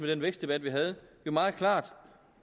den vækstdebat vi havde jo meget klart